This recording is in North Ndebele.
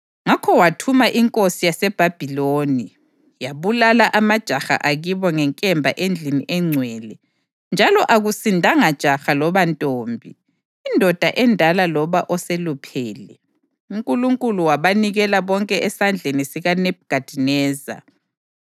Ngakho wathuma inkosi yaseBhabhiloni, yabulala amajaha akibo ngenkemba endlini engcwele, njalo akusindanga jaha loba ntombi, indoda endala loba oseluphele. UNkulunkulu wabanikela bonke esandleni sikaNebhukhadineza.